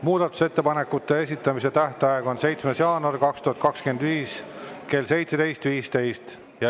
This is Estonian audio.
Muudatusettepanekute esitamise tähtaeg on 7. jaanuar 2025 kell 17.15.